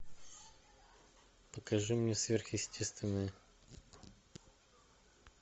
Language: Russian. покажи мне сверхъестественное